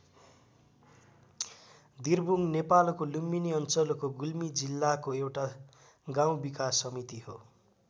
दिर्बुङ नेपालको लुम्बिनी अञ्चलको गुल्मी जिल्लाको एउटा गाउँ विकास समिति हो।